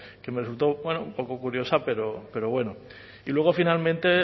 que me resultó un poco curiosa pero bueno y luego finalmente